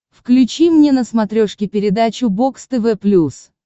включи мне на смотрешке передачу бокс тв плюс